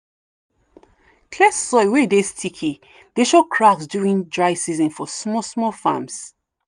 clay soil wey dey sticky dey show cracks during dry season for small small farms.